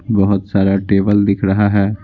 बहुत सारा टेबल दिख रहा है।